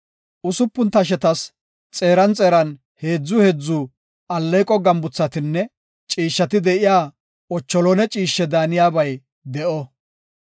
Usupun tashetas xeeran xeeran heedzu heedzu alleeqo gambuthatinne ciishshati de7iya lawuze mitha ciishshe daaniyabay de7o.